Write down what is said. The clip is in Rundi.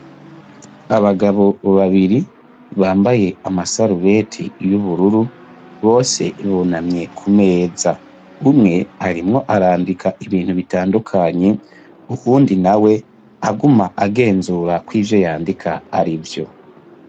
Abagabo babiri bambaye amasarubeti y'ubururu, bose bunamye kumeza. Umwe arimwo arandika ibintu bitandukanye, uwundi nawe aguma agenzura kw'ivyo yandika arivyo.